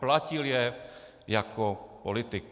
Platil je jako politik.